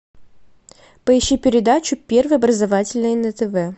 поищи передачу первый образовательный на тв